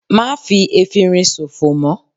Má fi efinrin sòfò mọ́!